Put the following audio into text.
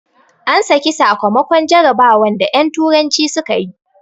An saki sakamakon jarabawan da en turanci suka yi